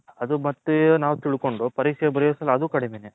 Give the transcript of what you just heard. ಅದು ಮತ್ತೆ ನಾವು ತಿಳ್ಕೊಂಡು ಪರೀಕ್ಷೆ ಬರ್ಯೋ ಅಷ್ಟರಲ್ಲಿ ಅದು ಕಡಿಮೇನೆ.